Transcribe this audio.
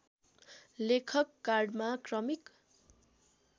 लेखक कार्डमा क्रमिक